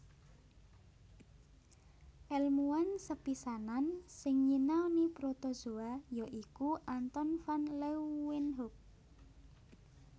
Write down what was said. Èlmuwan sepisanan sing nyinauni protozoa ya iku Anton van Leeuwenhoek